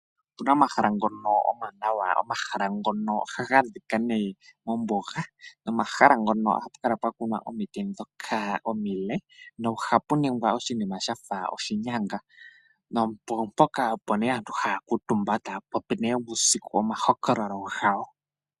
Opena ohahala ngono omanawa ,omahala ngono ohaga adhika mombuga nomahala ngono ohapu kala pwakunwa omiti dhoka omile nohapu ningwa oshinima shafa oshinyanga nopo ne mpoka aantu haakutumba uusiku tapopi nduno omahokolo gawo.